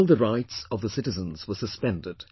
All the rights of the citizens were suspended